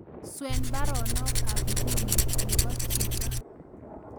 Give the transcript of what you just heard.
Swen baronok ab inguni nebo chito